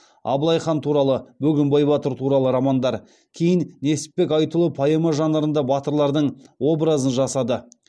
абылайхан туралы бөгенбай батыр туралы романдар кейін несіпбек айтұлы поэма жанрында батырлардың образын жасады